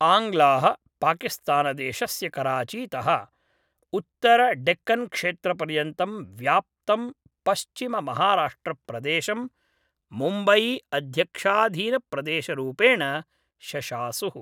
आङ्ग्लाः पाकिस्तानदेशस्य कराचीतः उत्तरडेक्कन्क्षेत्रपर्यन्तं व्याप्तं पश्चिममहाराष्ट्रप्रदेशं मुम्बयीअध्यक्षाधीनप्रदेशरूपेण शशासुः।